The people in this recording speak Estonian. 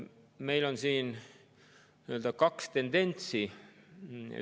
Meil on siin kaks tendentsi.